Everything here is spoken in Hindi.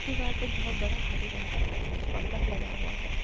दीवार पे बहोत बड़ा हरे रंग का पर्दा लगा हुआ है।